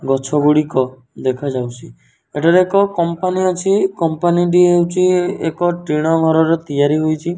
ଗଛଗୁଡ଼ିକ ଦେଖାଯାଉଛି ଏଠାରେ ଏକ କମ୍ପାନୀ ଅଛି କମ୍ପାନୀ ଟି ହେଉଛି ଏକ ଟିଣ ଘର ର ତିଆରି ହୋଇଛି।